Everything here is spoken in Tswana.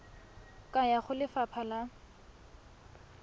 ka ya go lefapha la